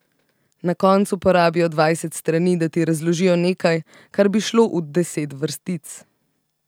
Na koncu porabijo dvajset strani, da ti razložijo nekaj, kar bi šlo v deset vrstic.